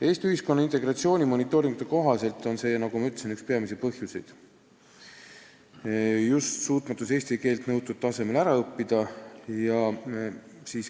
Eesti ühiskonna integratsiooni monitooringute kohaselt on see, nagu ma ütlesin, üks peamisi põhjuseid – suutmatus eesti keelt nõutud tasemel ära õppida.